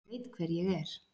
Ég veit hver ég er.